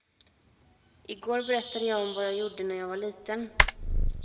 I går berättade jag om vad jag gjorde när jag var liten.